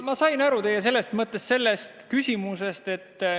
Ma sain teie mõttest, sellest küsimusest aru.